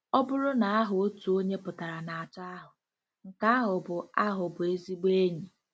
Ọ bụrụ na aha otu onye pụtara na atọ ahụ, nke ahụ bụ ahụ bụ ezigbo enyi!